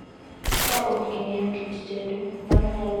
Ka ok ing'eyo kit tedo, mano nyalo ketho kit chiemo miyi.